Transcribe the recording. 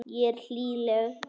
Ég er hlýleg.